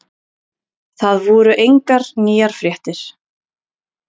Það voru engar nýjar fréttir.